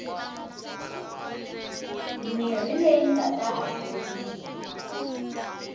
mirhi leyi nga ta hakeriwa